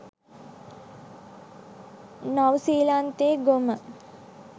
නව්සීලන්තෙ ගොම.